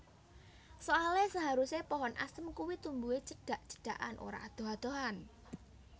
Soale seharuse pohon asem kuwi tumbuhe cedhak cedhakan ora adoh adohan